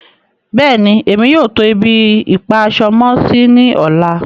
Bẹ́ẹ̀ni, emi yóò tó ibi-ipa-aṣọ-mọ-sí ní ọ̀lá.